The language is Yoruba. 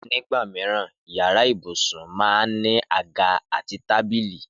Nígbà mìíràn, yàrá ibùsùn máa ń ní àga àti tábìlì